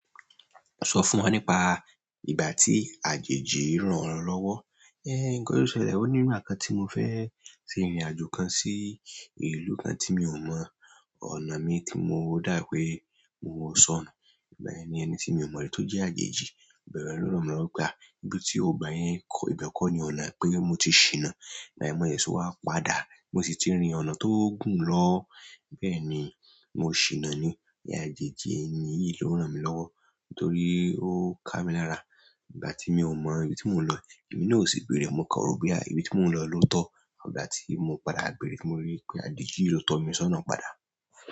Sọ fún wọn nípa ìgbà tí àjèjì rán ọ lọ́wọ́. Ńkán yóò ṣẹlẹ̀. Ó ní nígbà kan tí mo fẹ́ ṣe ìrìnàjò kan sí ìlú náà tí mi ò mọ ọ̀nà mi tí mo dá pé mo sọnù. Ìgbà yẹn ni ẹni tí mi ò mọ ri tó jẹ́ àjèji, ìgbà yẹn lo ranmi lọwọ pe a ibí tí ó gba yẹn kọ́, ìbẹ kọ́ ni ọ̀nà pé mo ti ṣìnà. Ìgbà yẹn mo sẹsẹ wá padà mo sì ti rí ọ̀nà tó gùn lọ. Bẹ́ẹ̀ ni, mo ṣìnà ni. Ni àjèjì ènì yí ló ránmi lọ́wọ́ torí ó ká mi lára. Ìgbà tí mi ò mọ ibi tí mò ń lọ, èmi náà o sì beere mo kàn ro pe à ibi tí mò ń lọ ló tọ́. Ìgbà tí mo padà beere tí mo rí wipé àjèjì yi ló tọ́ mi sọ́nà padà.